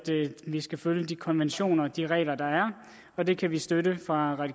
vi skal følge de konventioner og de regler der er og det kan vi støtte fra